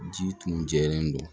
Ji tun jɛlen don